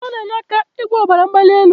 Ugba n'enye aka igwo obara mgbali eli